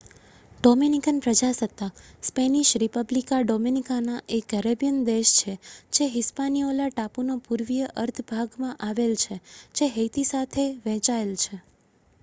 Dominican પ્રજાસત્તાક Spanish: Republica Dominicana એ Caribbean દેશ છે જે હિસ્પાનીઓલા ટાપુ નો પૂર્વીય અર્ધ ભાગ માં આવેલ છે જે હૈતી સાથે વહેંચાયેલ છે